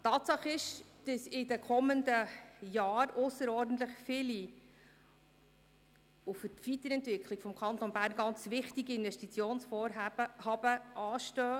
Tatsache ist, dass in den kommenden Jahren ausserordentlich viele, und für die Weiterentwicklung des Kantons Bern sehr wichtige Investitionsvorhaben anstehen.